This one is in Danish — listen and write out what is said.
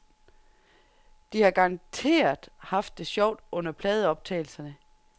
De har garanteret haft det sjovt under pladeoptagelserne.